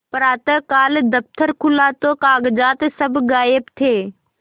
प्रातःकाल दफ्तर खुला तो कागजात सब गायब थे